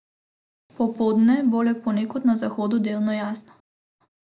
Popoldne bo le ponekod na zahodu delno jasno.